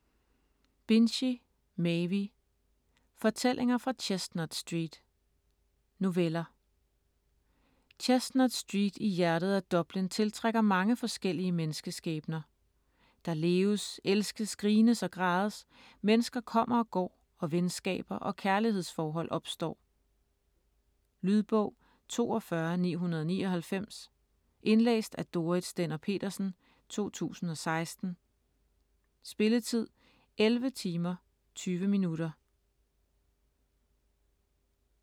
Binchy, Maeve: Fortællinger fra Chestnut Street Noveller. Chestnut Street i hjertet af Dublin tiltrækker mange forskellige menneskeskæbner. Der leves, elskes, grines og grædes, mennesker kommer og går og venskaber og kærlighedsforhold opstår. Lydbog 42999 Indlæst af Dorrit Stender-Petersen, 2016. Spilletid: 11 timer, 20 minutter.